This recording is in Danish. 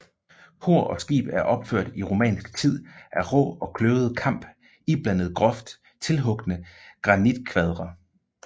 Kor og skib er opført i romansk tid af rå og kløvet kamp iblandet groft tilhugne granitkvadre